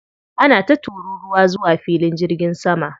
Ana ta tururuwa zuwa filin jirgin sama.